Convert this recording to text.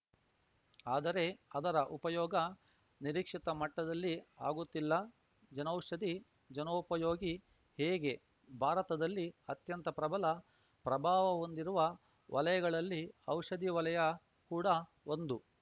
ಆದರೆ ಅದರ ಉಪಯೋಗ ನಿರೀಕ್ಷಿತ ಮಟ್ಟದಲ್ಲಿ ಆಗುತ್ತಿಲ್ಲ ಜನೌಷಧಿ ಜನೋಪಯೋಗಿ ಹೇಗೆ ಭಾರತದಲ್ಲಿ ಅತ್ಯಂತ ಪ್ರಬಲ ಪ್ರಭಾವ ಹೊಂದಿರುವ ವಲಯಗಳಲ್ಲಿ ಔಷಧಿ ವಲಯ ಕೂಡಾ ಒಂದು